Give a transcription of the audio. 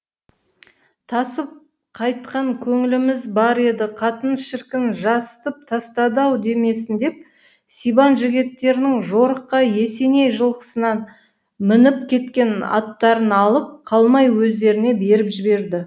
тасып қайтқан көңіліміз бар еді қатын шіркін жасытып тастады ау демесін деп сибан жігіттерінің жорыққа есеней жылқысынан мініп кеткен аттарын алып қалмай өздеріне беріп жіберді